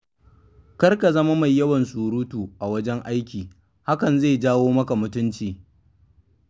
Kar ka zama mai yawan suratu a wajen aiki, hakan zai janyo maka mutunci.